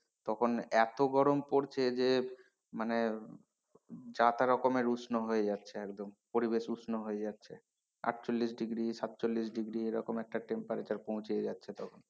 তখন এত গরম পড়ছে যে মানে যা তা রকমের উষ্ণ হয়ে যাচ্ছে একদম পরিবেশ উষ্ণ হয়ে যাচ্ছে আটচল্লিশ degree সাতচল্লিশ degree এরকম একটা temperature পৌঁছে যাচ্ছে তখন।